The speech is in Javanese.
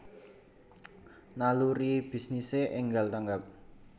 Naluri bisnise enggal tanggap